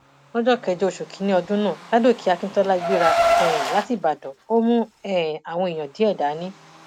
lọjọ kẹjọ oṣù kìnínní ọdún náà ládòkè akíntola gbéra um láti ìbàdàn ó mú um àwọn èèyàn díẹ dání